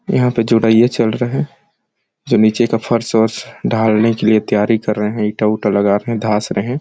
यहाँ पे जोड़ियां चल रहा है जो नीचे का फ़र्श -वर्श ढालने के लिए तैयारी कर रहे है ईटा- ऊटा लगा के धास रहे हैं ।